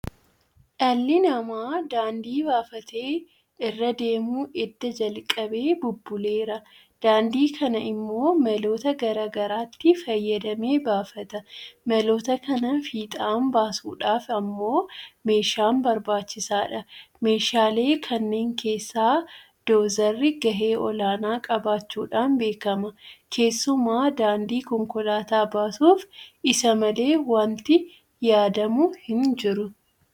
Dhalli namaa daandii baafatee irra deemuu edda jalqabee bubbuleera. Daandii kana immoo maloota garaa garaatti fayyadamee baafata. maloota kana fiixaan baasuudhaaf immoo meeshaan barbaachisaadha. Meeshaalee kanneen keessaa Doozarri gahee olaanaa qabaachuudhaan beekama. keessumaa daandii konkolaataa baasuuf isa malee waanti yaadamu hinjiru.